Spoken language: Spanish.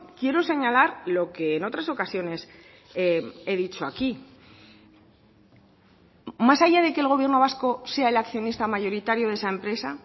quiero señalar lo que en otras ocasiones he dicho aquí más allá de que el gobierno vasco sea el accionista mayoritario de esa empresa